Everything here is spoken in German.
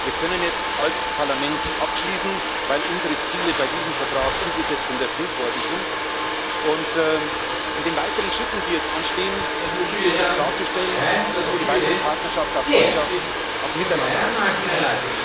Wir können jetzt als Parlament abschließen, weil unsere Ziele bei diesem Vertrag umgesetzt und erfüllt worden sind, und in den weiteren Schritten, die jetzt anstehen, gilt es klarzustellen, dass die weitere Partnerschaft auf Freundschaft, auf Miteinander ausgelegt